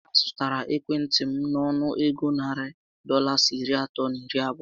A zụtara ekwentị m nọnụ égo narị Dọlas iri atọ na iri abụọ